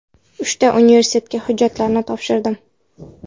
Uchta universitetiga hujjatlarimni topshirdim.